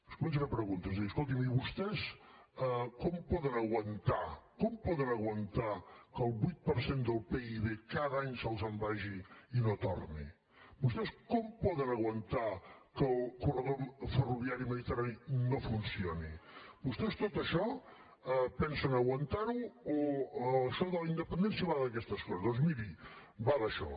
es comença a fer preguntes i diu escoltin i vostès com poden aguantar com poden aguantar que el vuit per cent del pib cada any se’ls en vagi i no torni vostès com poden aguantar que el corredor ferroviari mediterrani no funcioni vostès tot això pensen aguantar ho o això de la independència va d’aquestes coses doncs miri va d’això